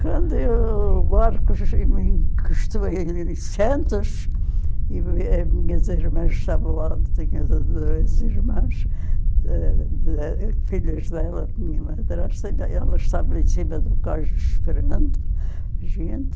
Quando eu, o Marcos me encostou em em Santos, e eh minhas irmãs estavam lá, eu tinha duas irmãs, filhas dela, minha madrasta, e a ela estava em cima do esperando a gente,